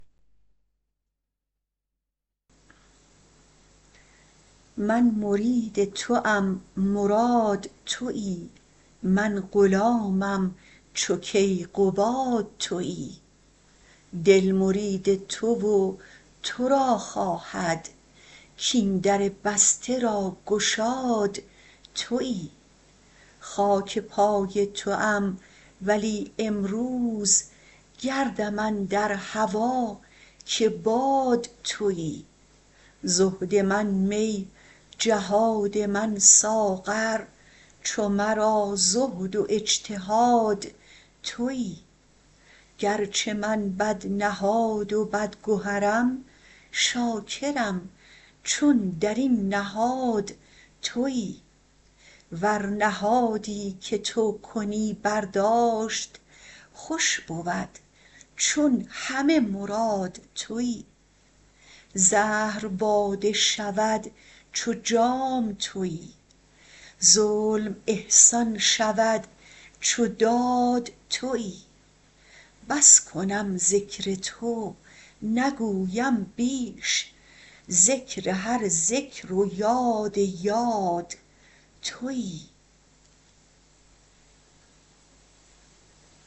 من مرید توم مراد توی من غلامم چو کیقباد توی دل مرید تو و تو را خواهد کاین در بسته را گشاد توی خاک پای توام ولی امروز گردم اندر هوا که باد توی زهد من می جهاد من ساغر چو مرا زهد و اجتهاد توی گرچه من بدنهاد و بدگهرم شاکرم چون در این نهاد توی ور نهادی که تو کنی برداشت خوش بود چون همه مراد توی زهر باده شود چو جام توی ظلم احسان شود چو داد توی بس کنم ذکر تو نگویم بیش ذکر هر ذکر و یاد یاد توی